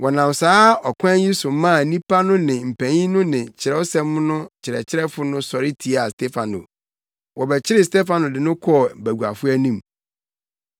Wɔnam saa ɔkwan yi so maa nnipa no ne mpanyin no ne Kyerɛwsɛm no akyerɛkyerɛfo no sɔre tiaa Stefano. Wɔbɛkyeree Stefano de no kɔɔ baguafo anim.